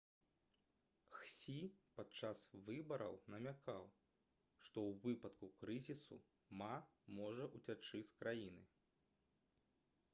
хсі падчас выбараў намякаў што ў выпадку крызісу ма можа ўцячы з краіны